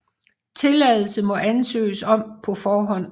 Tilladelse må ansøges om på forhånd